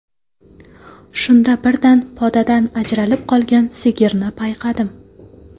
Shunda birdan podadan ajralib qolgan sigirni payqadim.